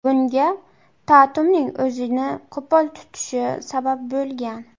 Bunga Tatumning o‘zini qo‘pol tutishi sabab bo‘lgan.